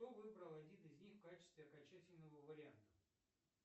что выбрал один из них в качестве окончательного варианта